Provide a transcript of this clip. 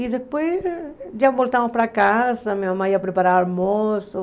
E depois já voltamos para casa, minha mãe ia preparar o almoço.